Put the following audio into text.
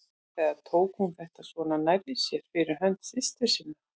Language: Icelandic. Eða tók hún þetta svona nærri sér fyrir hönd systur sinnar?